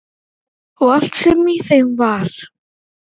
Og allt sem í þeim var.